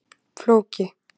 Fólki